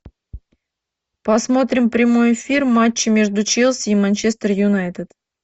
посмотрим прямой эфир матча между челси и манчестер юнайтед